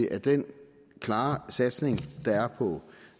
at den klare satsning der er på